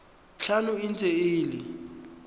tlhano e ntse e le